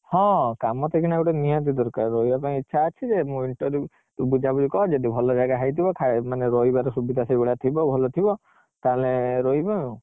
ହଁ କାମ ତ ଏଇଖିନା ଗୋଟେ ନିହାତି ଦରକାର, ରହିବା ପାଇଁ ଇଚ୍ଛା ଅଛି ଯେ ତୁ ବୁଝାବୁଝି କରେଲ, ଯଦି ଭଲ ଜାଗା ହେଇଥିବ ମାନେ ରହିବାର ସୁବିଧା ସେଇ ଭଳିଆ ଥିବ ଭଲ ଥିବ ତାହେଲେ ରହିବା ଆଉ